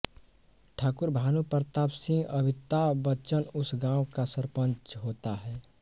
ठाकुर भानुप्रताप सिंह अमिताभ बच्चन उस गाँव का सरपंच होता है